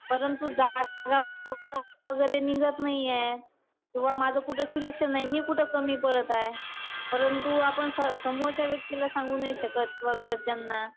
परंतु जागा वगैरे निघत नाहीये. व माझं कुठं सिलेक्शन नाही. मी कुठं कमी पडत आहे? परंतु आपण समोरच्या व्यक्तीला सांगू नाही शकत किंवा घरच्यांना.